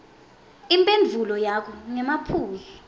imphendvulo yakho ngemaphuzu